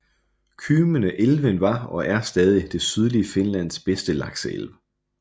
Kymmene elven var og er stadig det sydlige Finlands bedste lakseelv